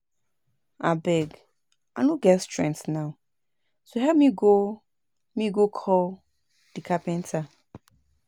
Abeg I no get strength now so help me go me go call the carpenter